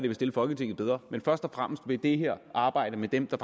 vil stille folketinget bedre men først og fremmest vil det her arbejde med dem der